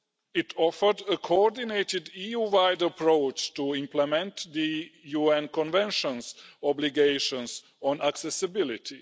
It offered a coordinated EU-wide approach to implement the UN Convention's obligations on accessibility.